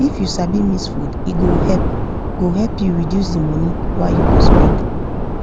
if u sabi mix food e go help go help u reduce the money wa u go spend